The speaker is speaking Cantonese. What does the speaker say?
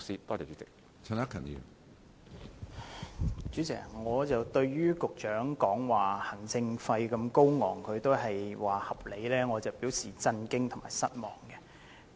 主席，雖然行政費用如此高昂，但局長仍表示是合理的，我對此表示震驚和失望。